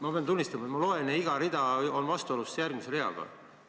Ma pean tunnistama, et ma loen, ja iga rida on justkui järgmise reaga vastuolus.